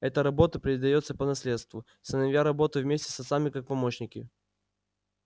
эта работа передаётся по наследству сыновья работают вместе с отцами как помощники